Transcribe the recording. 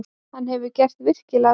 Hann hefur gert virkilega vel.